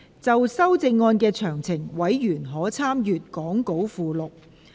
就修正案詳情，委員可參閱講稿附錄。